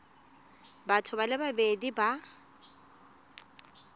batho ba le babedi ba